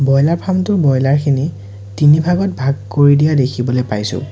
Broiler farm টোৰ boiler খিনি তিনি ভাগত ভাগ কৰি দিয়া দেখিবলৈ পাইছোঁ।